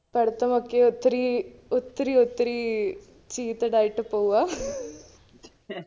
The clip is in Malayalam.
പഠിത്തമൊക്കെ ഒത്തിരി ഒത്തിരിയൊത്തിരിയ് cheated ആയിട്ട് പോവുവാ